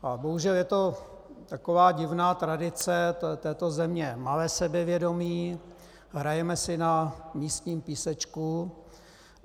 A bohužel je to taková divná tradice této země - malé sebevědomí, hrajeme si na místním písečku.